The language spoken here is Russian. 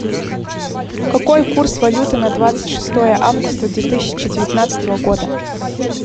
какой курс валюты на двадцать шестое августа две тысячи девятнадцатого года